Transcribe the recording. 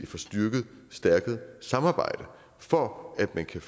få styrket samarbejdet for at man kan